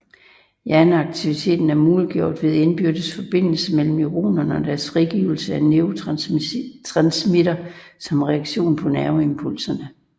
Hjerneaktivitet er muliggjort ved indbyrdes forbindelse mellem neuronerne og deres frigivelse af neurotransmittere som reaktion på nerveimpulser